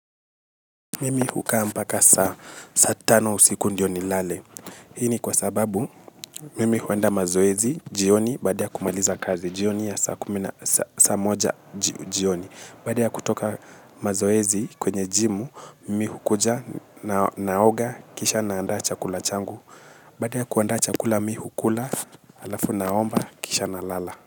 Mimi hukaa mpaka saa tano usiku ndio ni lale. Hini kwa sababu, mimi huenda mazoezi, jioni, badia kumaliza kazi, jioni ya saa kumina, saa moja, jioni. Baadi ya kutoka mazoezi kwenye jimu, mimi hukuja naoga, kisha naanda chakula changu. Baada ya kuanda chakula, mimi hu kula, alafu naomba, kisha na lala.